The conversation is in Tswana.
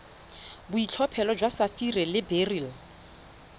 boitlhophelo jwa sapphire le beryl